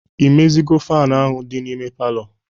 Imezigo faanụ ahụ dị n'ime palọ?